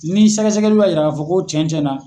Ni sɛgɛsɛgɛliw ya yira ka fɔ ko cɛn cɛn na